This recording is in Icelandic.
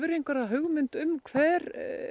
einhverja hugmynd um hver